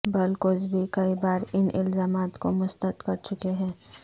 بل Cosby کئی بار ان الزامات کو مسترد کر چکے ہیں